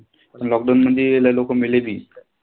Lockdown मधी लय लोक मेले बी.